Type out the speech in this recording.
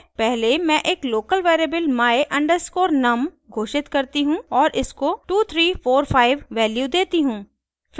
पहले मैं एक लोकल वेरिएबल my_num घोषित करती हूँ और इसको 2345 वैल्यू देती हूँ